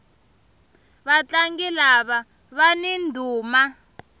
vatlangi lava vani ndhuma